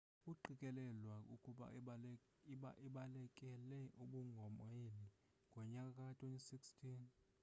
uqikelelwa ukuba abalekele ubumongameli ngonyaka ka-2016